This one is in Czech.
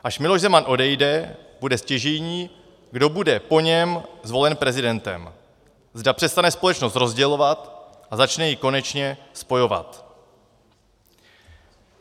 Až Miloš Zeman odejde, bude stěžejní, kdo bude po něm zvolen prezidentem, zda přestane společnost rozdělovat a začne ji konečně spojovat.